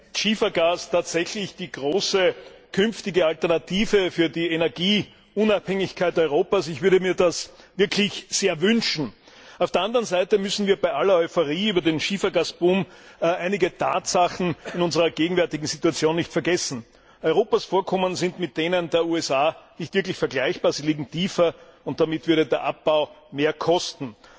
Herr Präsident! Vielleicht ist Schiefergas tatsächlich die große künftige Alternative für die Energieunabhängigkeit Europas, ich würde mir das wirklich sehr wünschen. Auf der anderen Seite dürfen wir bei aller Euphorie über den Schiefergasboom einige Tatsachen in unserer gegenwärtigen Situation nicht vergessen Europas Vorkommen sind mit denen der USA nicht wirklich vergleichbar, sie liegen tiefer, und damit würde der Abbau mehr kosten.